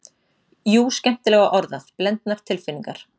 Jú, skemmtilega orðað, blendnar tilfinningar.